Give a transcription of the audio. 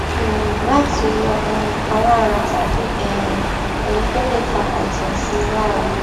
irìn lati yo ohun ipalára tàbí um ohun tó lè fa àìsàn sii lára